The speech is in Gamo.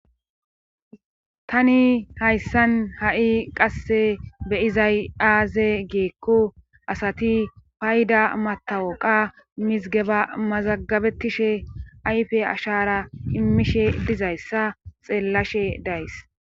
Tani hayssan ha7i qasse beyizay aaze geekku asati payda matawoqa mizgeba mazagabetishe ayfe ashara immishe dizayssa xeellashe days.